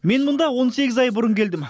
мен мұнда он сегіз ай бұрын келдім